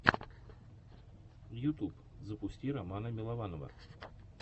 ютьюб запусти романа милованова